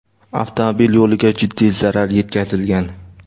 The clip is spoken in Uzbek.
avtomobil yo‘liga jiddiy zarar yetkazilgan.